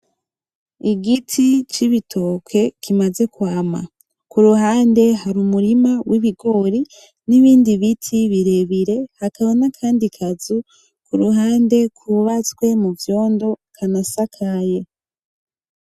Igiti c'ibitoke kimaze kwama kuruhande hari umurima w'ibigori n'ibindi biti birebire hakaba n'akandi kazu ku ruhande kubatswe mu vyondo kanasakaye .